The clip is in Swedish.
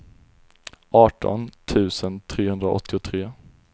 arton tusen trehundraåttiotre